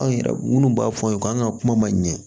Anw yɛrɛ minnu b'a fɔ an ye k'an ka kuma ma ɲɛ